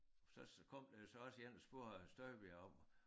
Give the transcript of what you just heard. Så kom der jo så også én og spurgte hr. Støjberg om